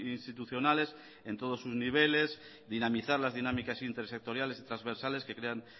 institucionales en todos sus niveles dinamizar las dinámicas intersectoriales y transversales que crean